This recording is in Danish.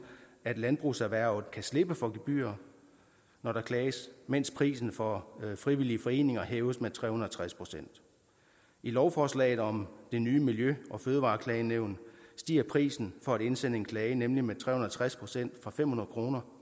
at landbrugserhvervet kan slippe for gebyrer når der klages mens prisen for frivillige foreninger hæves med tre hundrede og tres procent i lovforslaget om det nye miljø og fødevareklagenævn stiger prisen for at indsende en klage nemlig med tre hundrede og tres procent fra fem hundrede kroner